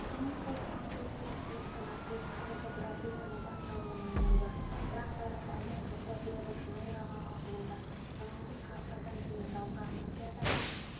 экономикалық тұрақсыздық пен қылмыстың артуы қазіргі бразилияның бас ауруына айналды бірақ бәрібір әлем жұрты рио-де-жанейроға ағылуда санаулы сағаттардан кейін жазғы олимпиада